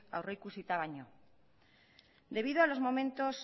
aurrikusita baino debido a los momentos